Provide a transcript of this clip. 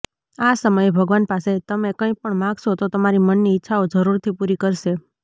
આ સમયે ભગવાન પાસે તમે કંઈ પણ માંગશો તો તમારી મનની ઈચ્છાઓ જરૂરથી પૂરી કરશે